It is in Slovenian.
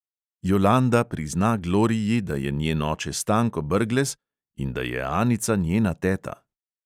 Jolanda prizna gloriji, da je njen oče stanko brglez in da je anica njena teta.